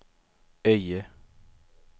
Öje